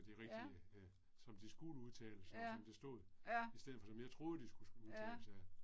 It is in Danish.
Ja. Ja, ja. ja